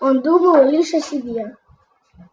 он думал лишь о себе